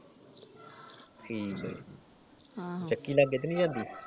ਠੀਕਾ । ਆਹੋ । ਚੱਕੀ ਲਾਗੇ ਤਾ ਨੀ ਜਾਂਦੀ?